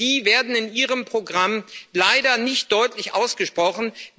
Die aber werden in Ihrem Programm leider nicht deutlich ausgesprochen.